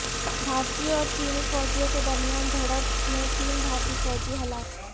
بھارتی اور چینی فوجیوں کے درمیان جھڑپ میں تین بھارتی فوجی ہلاک